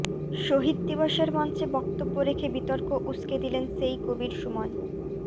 শহিদ দিবসের মঞ্চে বক্তব্য রেখে বিতর্ক উসকে দিলেন সেই কবীর সুমন